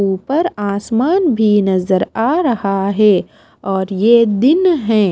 ऊपर आसमान भी नजर आ रहा है और ये दिन है।